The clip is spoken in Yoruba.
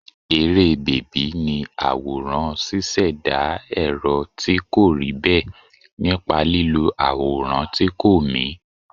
Eré bèbí ni àwòrán ṣíṣẹ̀dá èrò tí kò rí bẹ́ẹ̀ nípa lílo àwòrán tí kò mì.